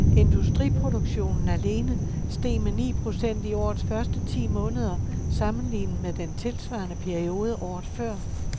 Industriproduktionen alene steg med ni procent i årets første ti måneder sammenlignet med den tilsvarende periode året før.